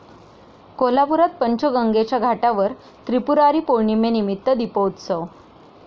कोल्हापुरात पंचगंगेच्या घाटावर त्रिपुरारी पौर्णिमेनिमित्त दीपोत्सव